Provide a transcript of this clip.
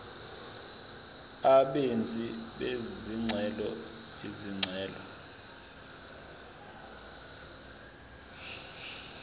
abenzi bezicelo izicelo